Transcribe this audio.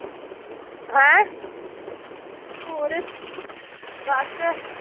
ਹੈਂ ਹੋਰ ਬੱਸ।